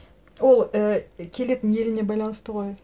ол і келетін еліне байланысты ғой